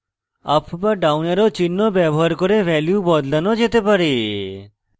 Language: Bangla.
up be down অ্যারো চিহ্ন ব্যবহার করে ভ্যালু বদলানো যেতে পারে